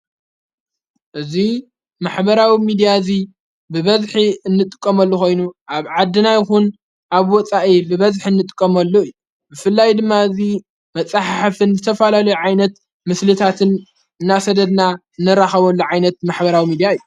እዙይ ማሕበራዊ ሚድያ እዙይ ብበዝኂ እንጥቆመሉ ኾይኑ ኣብ ዓድናይኹን ኣብ ወፃኢ ብበዝኂ እንጥቆመሉ እዩ ብፍላይ ድማ እዙይ መጻሕ ሕፍን ዘተፈላሉ ዓይነት ምስልታትን እናሰደድና እነራኸበሉ ዓይነት ማኅበራዊ ሚዲያ እዩ።